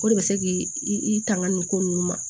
O de bɛ se k'i tanga nin ko ninnu ma